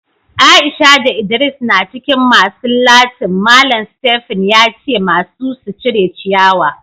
Aisha da ldris na cikin masun latin .Mallam Stephen ya ce masu su cire ciyawa.